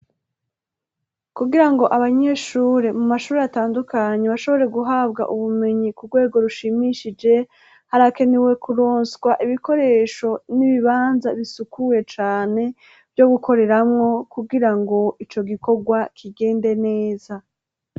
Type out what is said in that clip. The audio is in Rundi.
Kugira ngo abanyeshure mu mashure atandukanye bashobore guhabwa ubumenyi ku rwego rushimishije, harakenewe kuronswa ibikoresho n'ibibanza bisukuye cane, vyo gukoreramwo kugira ngo ico gikorwa kigende neza.